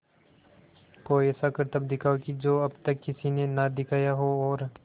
कोई ऐसा करतब दिखाओ कि जो अब तक किसी ने ना दिखाया हो और